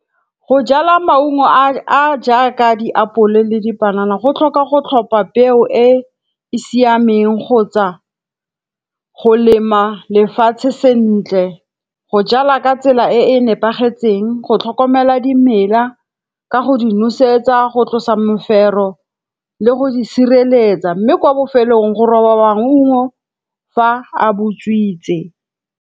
Go jala maungo a a jaaka diapole le dipanana go tlhoka go tlhopa peo e e siameng kgotsa go lema lefatshe sentle. Go jala ka tsela e e nepagetseng, go tlhokomela dimela ka go di nosetsa, go tlosa mofero le go di sireletsa. Mme kwa bofelong go roba wa maungo fa a botswitse.